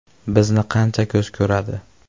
Bizni qancha ko‘z ko‘radi.